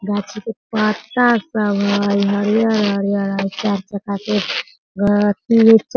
गाछी के पत्ता सब हई हरियर-हरियर हई चार चक्का के --